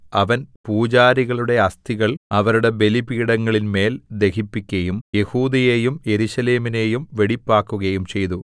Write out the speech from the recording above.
അവൻ പൂജാരികളുടെ അസ്ഥികൾ അവരുടെ ബലിപീഠങ്ങളിന്മേൽ ദഹിപ്പിക്കയും യെഹൂദയെയും യെരൂശലേമിനെയും വെടിപ്പാക്കുകയും ചെയ്തു